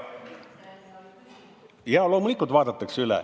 Jaa, loomulikult vaadatakse üle.